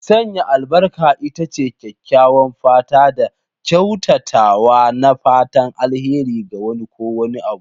Sanya albarka ita ce kyakkyawan fata da kyautatawa na fatan alheri ga wani ko wani abu.